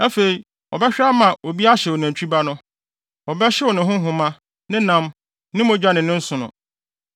Afei, ɔbɛhwɛ ama obi ahyew nantwi ba no. Wɔbɛhyew ne ho nhoma, ne nam, ne mogya ne ne nsono.